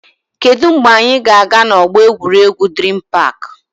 Kedụ mgbe anyị ga-aga na ọgbọ egwuregwu Dream park?